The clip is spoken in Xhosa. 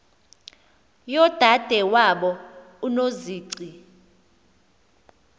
yodade wabo unozici